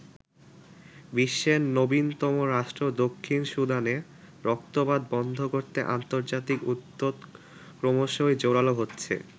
বিশ্বের নবীনতম রাষ্ট্র দক্ষিণ সুদানে রক্তপাত বন্ধ করতে আন্তর্জাতিক উদ্যোগ ক্রমশই জোরালো হচ্ছে।